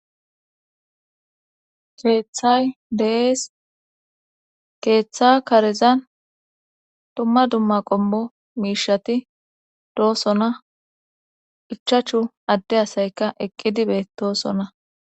keeththay dees keeththa karezan dumma dumma qommo miishati doosona ichachu adde asayka eqqidi beetosona.